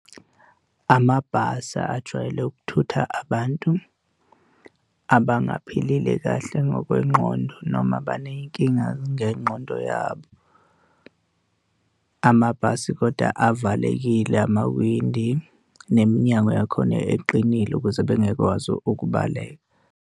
Amabhasi ajwayele ukuthutha abantu abangaphilile kahle ngokwengqondo noma abaney'nkinga ngengqondo yabo. Amabhasi koda avalekile amawindi neminyango yakhona eqinile ukuze bengeke bekwazi ukubaleka.